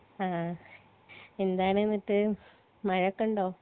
ആ എന്താണ് ന്നിട്ട് മമഴയൊക്കെണ്ടോ